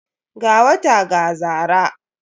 Ga wata ga zara.